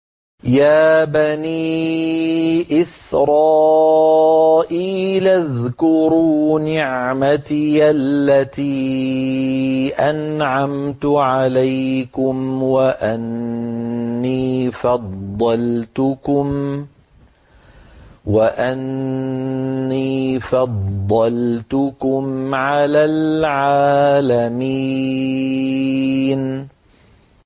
يَا بَنِي إِسْرَائِيلَ اذْكُرُوا نِعْمَتِيَ الَّتِي أَنْعَمْتُ عَلَيْكُمْ وَأَنِّي فَضَّلْتُكُمْ عَلَى الْعَالَمِينَ